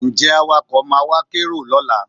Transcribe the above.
Ǹjẹ́ Awakọ̀ máa wá kérò lọ́la?